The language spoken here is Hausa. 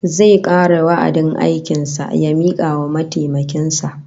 Zai kare wa'adin aikin sa ya mika wa mataimakin sa